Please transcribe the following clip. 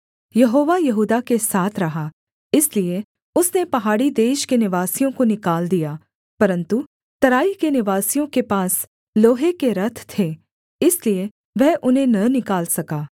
यहोवा यहूदा के साथ रहा इसलिए उसने पहाड़ी देश के निवासियों को निकाल दिया परन्तु तराई के निवासियों के पास लोहे के रथ थे इसलिए वह उन्हें न निकाल सका